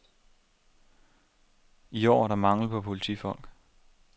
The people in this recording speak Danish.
I år er der mangel på politifolk.